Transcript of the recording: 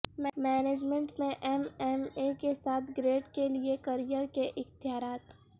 management میں M M A کے ساتھ گریڈ کے لئے کیریئر کے اختیارات